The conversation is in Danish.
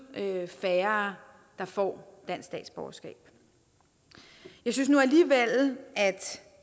at det er færre der får dansk statsborgerskab jeg synes nu alligevel at